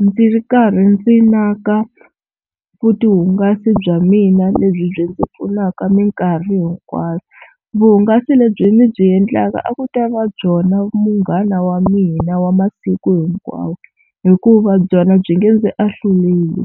ndzi ri karhi ndzi naka vutihungasi bya mina lebyi byi ndzi pfunaka minkarhi hinkwayo. Vuhungasi lebyi ndzi byi endlaka a ku ta va byona munghana wa mina wa masiku hinkwawo hikuva byona byi nge ndzi ahluleli,